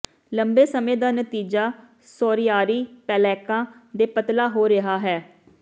ਲੰਬੇ ਸਮੇਂ ਦਾ ਨਤੀਜਾ ਸੋਰਿਆਰੀ ਪਲੈਕਾਂ ਦੇ ਪਤਲਾ ਹੋ ਰਿਹਾ ਹੈ